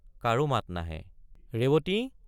কাৰো মাত নাহে ৰেৱতী!